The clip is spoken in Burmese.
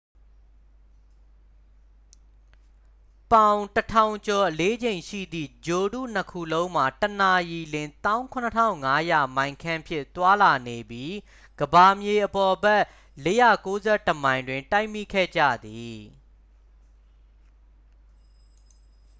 ပေါင် 1,000 ကျော်အလေးချိန်ရှိသည့် ဂြိုလ်တုနှစ်ခုလုံးမှာ တစ်နာရီလျှင် 17,500 မိုင်ခန့်ဖြင့် သွားလာနေပြီး ကမ္ဘာမြေအပေါ်ဘက် 491 မိုင်တွင် တိုက်မိခဲ့ကြသည်